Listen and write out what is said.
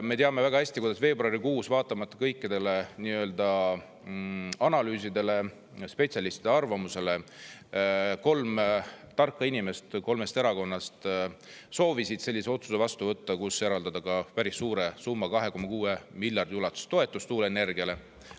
Me teame väga hästi, kuidas veebruarikuus, vaatamata kõikidele analüüsidele, spetsialistide arvamusele, kolm tarka inimest kolmest erakonnast soovisid sellise otsuse vastu võtta, kus eraldada ka päris suure summa, 2,6 miljardi ulatuses toetus tuuleenergiale.